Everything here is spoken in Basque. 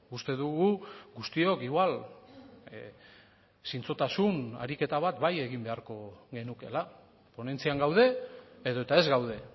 uste dugu guztiok igual zintzotasun ariketa bat bai egin beharko genukeela ponentzian gaude edota ez gaude